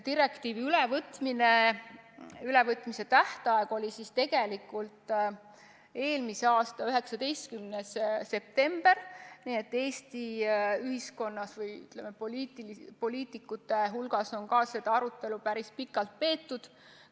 Direktiivi ülevõtmise tähtaeg oli tegelikult eelmise aasta 19. september, nii et Eesti poliitikud on seda päris pikalt arutanud.